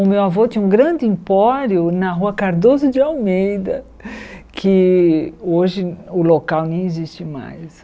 O meu avô tinha um grande empório na rua Cardoso de Almeida, que hoje o local nem existe mais.